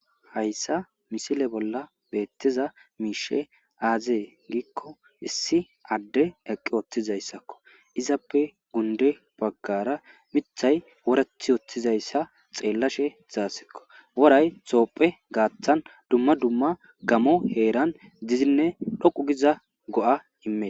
hayssa misile bolla beettiza miishe aazee giikko issi adde eqqi ooththizayssakko izappe gunde baggara mithay woreth wooththizayssa xeellashe zaassikko woray xoopphe gaaththan dumma dumma gamo heeran dizinne dhoqu giza go7a immee